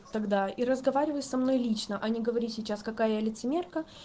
тогда и разговаривай со мной лично а не говори сейчас какая я лицемерка